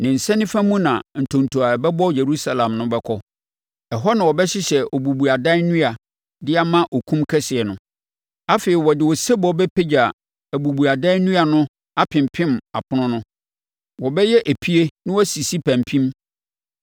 Ne nsa nifa mu na ntonto a ɛbɛbɔ Yerusalem no bɛkɔ, na ɛhɔ na wɔbɛhyehyɛ obubuadaban nnua de ama okum kɛseɛ no. Afei wɔde osebɔ bɛpagya obubuadaban nnua no apempem apono no. Wɔbɛyɛ epie na wasisi pampim.